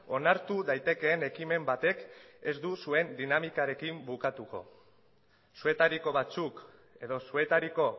onartu daitekeen ekimen batek ez du zuen dinamikarekin bukatuko zuetariko batzuk edo zuetariko